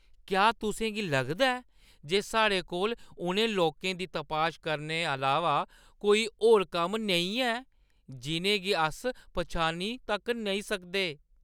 क्या तुसें गी लगदा ऐ जे साढ़े कोल उ'नें लोकें दी तपाश करने दे अलावा कोई होर कम्म नेईं ऐ जिʼनें गी अस पन्छानी तक नेईं सकदे?